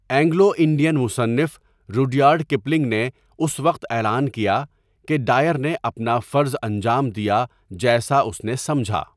Anglo Indian مصنف Rudyard Kipling نے اس وقت اعلان کیا کہ ڈائر نے 'اپنا فرض انجام دیا جیسا اس نےسمجھا۔